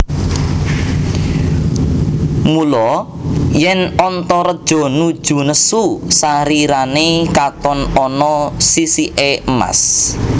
Mula yèn Antareja nuju nesu sarirané katon ana sisiké emas